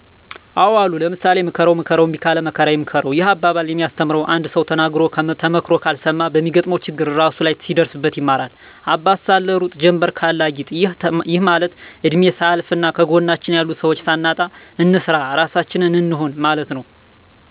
አዎ አሉ ለምሳሌ፦ ምከረዉ ምከረዉ እምቢ ካለ መከራ ይምከረዉ ይህ አባባል የሚያስተምረዉ አንድ ሰዉ ተነግሮ ተመክሮ ካልሰማ በሚገጥመዉ ችግር እራሱ ላይ ሲደርስበት ይማራል - አባት ሳለ ሩጥ ጀምበር ካለ አጊጥ ይህ ማለት እድሜ ሳያልፋና ከጎናችን ያሉ ሰዎች ሳናጣ እንስራ ራሳችን እንሁን ማለት ነዉ